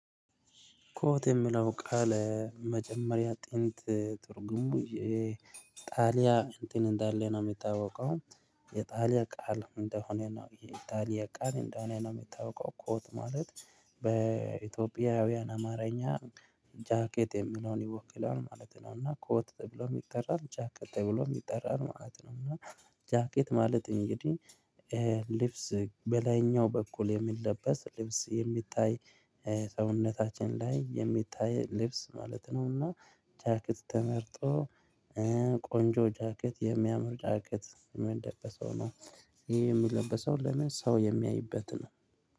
ኮት የምለው ቃል መጀመሪያ ጥንት ትርጉሙ ጣሊያን እንትን እንዳለ ነው የምታወቀው የጣሊያን ቃል እንደሆነ ነው የጣሊያን ቃል እንደሆነ ነው የሚታወቀው። ኮት ማለት በኢትዮጵያውያን አማርኛ ጃኬት የሚለውን ይወክላል ማለት ነው። እና ኮት ተብሎ የሚጠራው ጃኬት ተብሎ የሚጠራን ማለት ነው። እና ጃኬት ማለት እንግዲህ ልብስ በላይኛው በኩል የሚለበስ ልብስ የሚታይ ሰውነታችን ላይ የሚታይ ልብስ ማለት ነውና። ጃኬት ተመርጦ ቆንጆ ጃኬት የሚያምር ጃኬት የሚለበሰው ነው። ይሄ የሚለበሰው ለምን ሰው የሚያይበት ነው